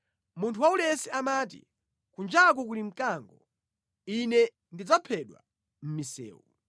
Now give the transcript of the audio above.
Munthu waulesi amati, “Kunjaku kuli mkango. Ine ndidzaphedwa mʼmisewu!”